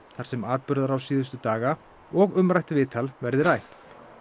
þar sem atburðarás síðustu daga og umrætt viðtal verði rætt